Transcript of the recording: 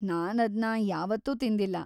ನಾನದ್ನ ಯಾವತ್ತೂ ತಿಂದಿಲ್ಲ.